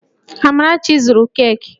Amarachi zụru keeki